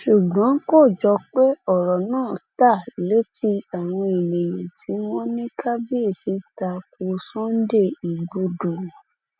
ṣùgbọn kò jọ pé ọrọ náà ta létí àwọn èèyàn tí wọn ní kábíyèsí ta ko sunday igbodò